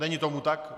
Není tomu tak?